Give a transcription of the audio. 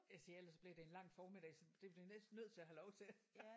Jeg siger ellers så bliver det en lang formiddag så det bliver næsten nødt til at have lov til